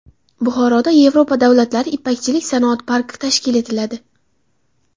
Buxoroda Yevropa davlatlari ipakchilik sanoat parki tashkil etiladi.